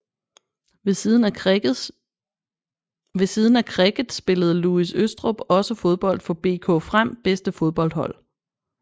Ved siden af cricket spillede Louis Østrup også fodbold for BK FREM bedste fodboldhold